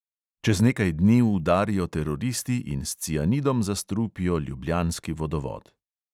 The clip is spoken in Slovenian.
Čez nekaj dni udarijo teroristi in s cianidom zastrupijo ljubljanski vodovod.